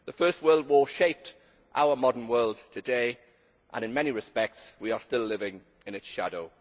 The First World War shaped our modern world today, and in many respects we are still living in its shadow.